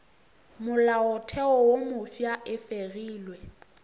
molaotheo wo mofsa e fegilwe